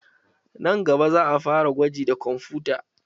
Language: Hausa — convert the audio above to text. Nan gaba, za'a fara gwaji da kwamfuta.